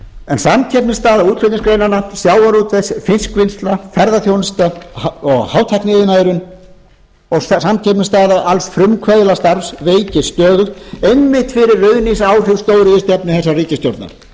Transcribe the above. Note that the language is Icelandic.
en samkeppnisstaða útflutningsgreinanna sjávarútvegs fiskvinnsla ferðaþjónusta og hátækniiðnaðurinn og samkeppnisstaða alls frumkvöðlastarfs veikist stöðugt einmitt fyrir ruðningsáhrif stórvirkjana þessara ríkisstjórnar